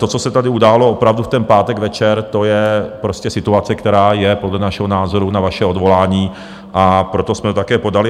To, co se tady událo opravdu v ten pátek večer, to je prostě situace, která je podle našeho názoru na vaše odvolání, a proto jsme to také podali.